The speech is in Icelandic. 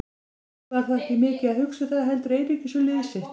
Leifur var þó ekki mikið að hugsa um það heldur einungis um lið sitt.